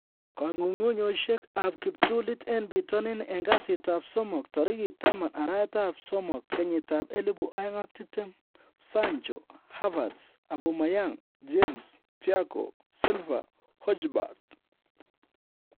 Kong'ung'unyosiek ab kiptulit en bitonin en kasitab somok tarigit 10/06/2020: Sancho, Havertz, Aubameyang, James, Thiago, Silva, Hojberg